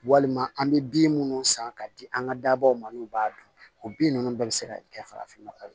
Walima an bɛ bin minnu san k'a di an ka dabaw ma n'u b'a dun o bin ninnu bɛɛ bɛ se ka kɛ farafin nɔgɔ ye